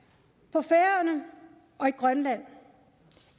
på færøerne og i grønland